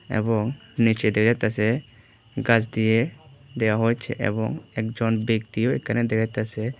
এবং নিচে দেখা যাইতেসে গাছ দিয়ে দেওয়া হয়েছে এবং একজন ব্যক্তিও এখানে দেখা যাইতেসে।